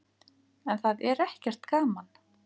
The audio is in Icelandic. En það er ekkert gaman.